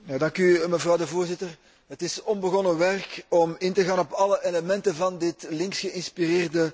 Het is onbegonnen werk om in te gaan op alle elementen van dit links geïnspireerde mensenrechtenverslag.